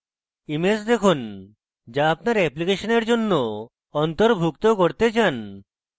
image দেখুন যা আপনি আপনার অ্যাপ্লিকেশনের জন্য অন্তর্ভুক্ত করতে চান